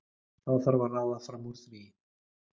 Þá þarf að ráða fram úr því.